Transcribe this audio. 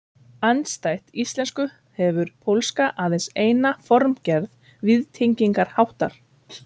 Niðurstaða stofnunarinnar ekki einstakra starfsmanna